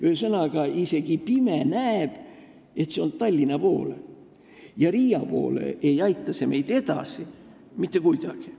Ühesõnaga, isegi pime näeb, et see jääb Tallinna poole ja Riia poole sõites ei aita see meid mitte kuidagi.